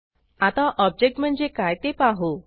आता ऑब्जेक्ट म्हणजे काय ते पाहू